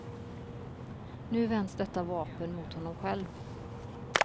Nu vänds detta vapen mot honom själv.